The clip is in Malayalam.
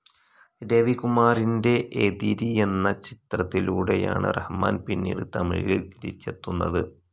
രവികുമാറിന്റെ എതിരി എന്ന ചിത്രത്തിലൂടെയാണ് റഹ്മാൻ പിന്നീട് തമിഴിൽ തിരിച്ചെത്തുന്നത്.